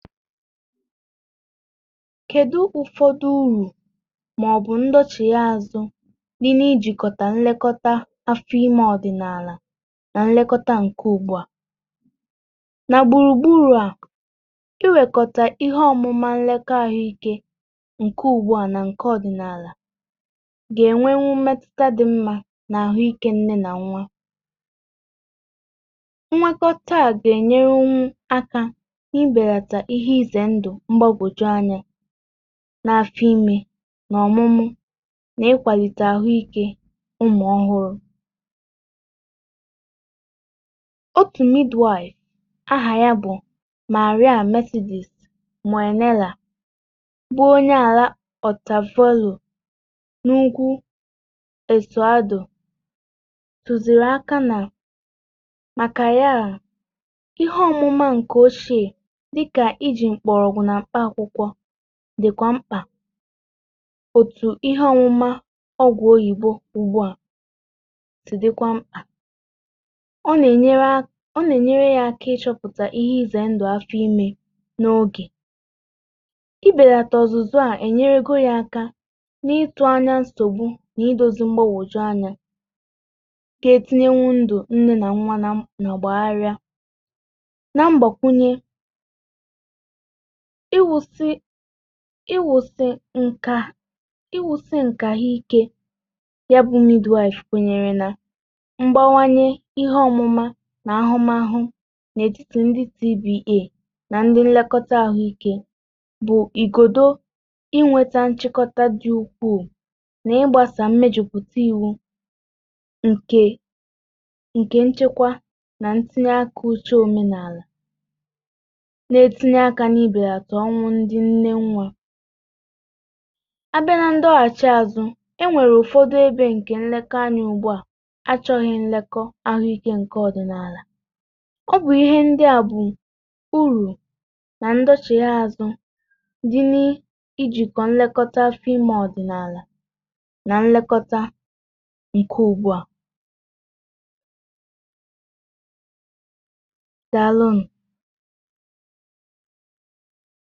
kèdụ, um òsòrfòde urù màọbụ̀ ndochi ya azụ niilė ijìkọ̀tà nlekọta afọ imė ọdị̀nààlà nà nlekọta ǹkè ùgbùa nà gbùrùgburù? à iwèkọ̀tà ihe ọ̀mụ̀mà nlekọ ahụ̀ike nkè ùgbùà nà nkè ọ̀dị̀nààlà gà-ènwe eh nwu metụta dị̀ mmȧ nà àhụ ike nne nà nwa. ihe izè ndụ̀ mgbagwòju anyȧ n’afọ ime, n’ọmụmụ nà ikwàlìtà ahụ̀ ike ụmụ ọhụrụ̇ dịkwa mkpa. otu ihe, um anwụma ọgwụ oyibo ugbu a na-atụ, dịkwa mkpa—ọ na-enyere ya aka ị chọpụta ihe ize ndụ afọ ime n’oge, belata ọzụzụ, a enyerego ya aka n’ịtụ anya nsogbu nà ịdozi mgbagwoju anya. ga-etinye wụ ndụ nne nà nwa; ma agbaghari, àna iwusi eh ǹkà ha ike. yabụmịdụ, a ifu kwenyere nà mgbawanye ihe ọmụmà nà ahụmahụ nà-èjítì ndị cba nà ndị nlekọta ahụike bụ ìgòdò iweta nchekọta dị ukwuu, nà ịgbàsà mmejùpùtà iwu ǹkè nchekwa nà ntìnyeakȧ. uchė òmenàlà, dì beàtụ̀ ọnwụ ndị ǹne nwȧ abịa nà ndị ọghàchị̀ azụ̀. e nwèrè ụ̀fọdụ ebe ǹkè nlekọ anya ugbu a achọ̇ghị̀ nlekọ ahụ̀ike ǹkè ọ̀dị̀nààlà—ọ bụ̀ ihe ndị à bụ̀ urù na ndọchị̀ azụ̀ dị n'ijìkọ̀ nlekọ. fi ma ọ̀dị̀nààlà nà nlekọta ike ugbu à, dàalụnụ̀! um màkà òdiri speed ahù o jì à gba ọsọ̇, o yà ẹ̀ mẹru ezi gbòte àhu—ọ nàà di mmȧ kà ànyi gwakwa umùakȧ nà i gbȧ òdiri ọsọ̇. à a naà dicha mmȧ, màkà i daàdà kòtere ònwegi̇ òfu nsògbu, i gȧ hȧ pùtawu nà ya.